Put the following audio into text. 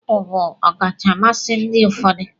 Apụl bụ ọkacha mmasị ndị ụfọdụ